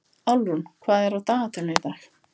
Álfrún, hvað er á dagatalinu í dag?